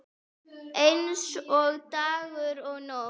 Eins og dagur og nótt.